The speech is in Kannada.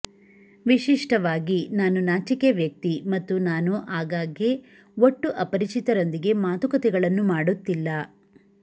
ವಿಶಿಷ್ಟವಾಗಿ ನಾನು ನಾಚಿಕೆ ವ್ಯಕ್ತಿ ಮತ್ತು ನಾನು ಆಗಾಗ್ಗೆ ಒಟ್ಟು ಅಪರಿಚಿತರೊಂದಿಗೆ ಮಾತುಕತೆಗಳನ್ನು ಮಾಡುತ್ತಿಲ್ಲ